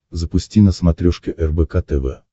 запусти на смотрешке рбк тв